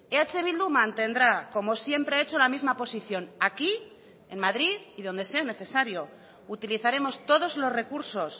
eh bildu mantendrá como siempre ha hecho la misma posición aquí en madrid y donde sea necesario utilizaremos todos los recursos